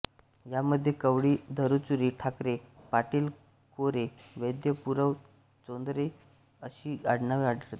ह्यामध्ये कवळी धुरूचुरी ठाकूर पाटील कोरे वैद्य पुरव चौधरी अशी आडनावे आढळतात